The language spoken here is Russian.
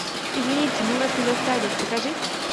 извините мы вас не застали покажи